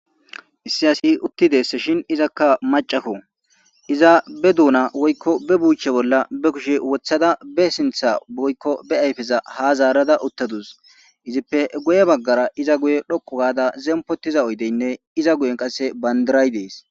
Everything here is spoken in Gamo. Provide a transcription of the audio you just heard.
issi asi uttides shin izakka macako iza be duuna woykko be buche bolla be kushe wothada be sintha woykko be ayfeza ha zaarada uttadus izippe guye baggara iza guye dhokko gaada zempotiza oydeynne iza guyen qasse bandiray dees